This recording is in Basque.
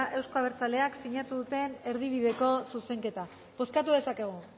euzko abertzaleak sinatu duten erdibideko zuzenketa bozkatu dezakegu